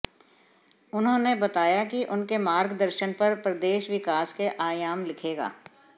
उन्होंने बताया कि उनके मार्ग दर्शन पर प्रदेश विकास के आयाम लिखेगा